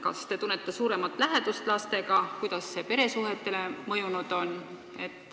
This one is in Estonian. Kas te tunnete suuremat lähedust lastega ja kuidas on see mõjunud peresuhetele?